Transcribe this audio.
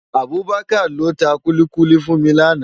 Abubakar ló tá kúlikúli fún mi làná